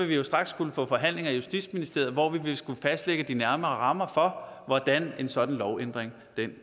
vi straks få forhandlinger i justitsministeriet hvor vi vil skulle fastlægge de nærmere rammer for hvordan en sådan lovændring